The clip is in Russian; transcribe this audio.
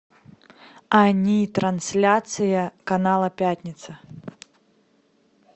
ани трансляция канала пятница